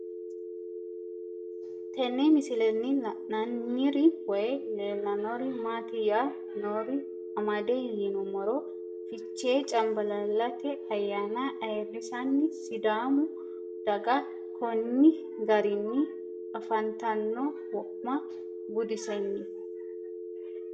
Tenne misilenni la'nanniri woy leellannori maattiya noori amadde yinummoro fichche canbaallallatte ayaanna ayiirisanni sidaamu daga konni garinni afanttanno wo'ma buddisenni